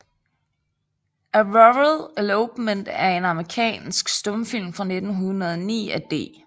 A Rural Elopement er en amerikansk stumfilm fra 1909 af D